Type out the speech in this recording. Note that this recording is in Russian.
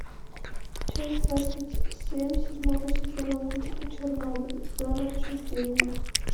часть двадцать семь седьмого сезона мультика чернобыль зона отчуждения